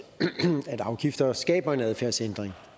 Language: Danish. afgifter skaber en adfærdsændring